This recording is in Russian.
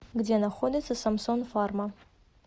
где находится самсон фарма